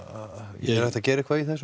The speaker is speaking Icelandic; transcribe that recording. er hægt að gera eitthvað í þessu